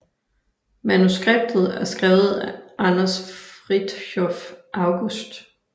Manuskriptet er skrevet af Anders Frithiof August